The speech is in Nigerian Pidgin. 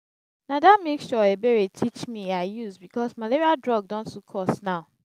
don make sure say Ebere teach me her use because malaria drug don too cost now